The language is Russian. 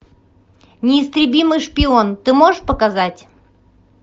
неистребимый шпион ты можешь показать